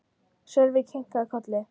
Sölvi kinkaði kolli.